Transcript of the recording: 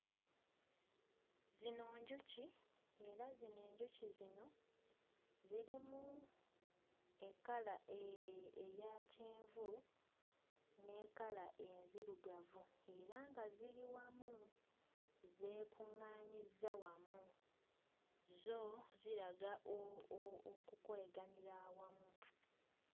Zino njuki, era zino enjuki zino zirimu ekkala eeeh eya kyenvu ne kkala enzirugavu era nga ziri wamu zeekuŋŋaanyizza wamu zo ziraga o o okukoleganira wamu.